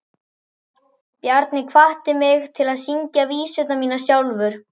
Bjarni hvatti mig til að syngja vísurnar mínar sjálfur.